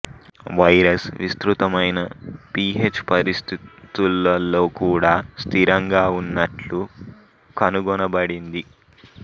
virus విస్తృతమైన pH పరిస్థితులలో కూడా స్థిరంగా ఉన్నట్లు కనుగొనబడింది